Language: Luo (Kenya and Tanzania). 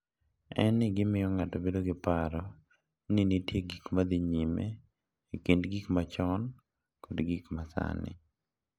en ni gimiyo ng’ato bedo gi paro ni nitie gik ma dhi nyime e kind gik machon kod gik ma sani.